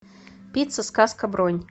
пицца сказка бронь